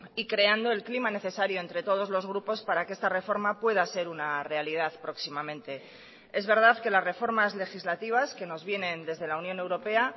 y creando el clima necesario entre todos los grupos para que esta reforma pueda ser una realidad próximamente es verdad que las reformas legislativas que nos vienen desde la unión europea